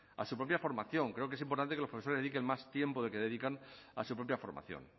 a su propia formación creo que es importante que los profesores dediquen más tiempo del que dedican a su propia formación